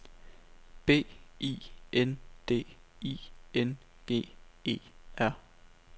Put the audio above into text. B I N D I N G E R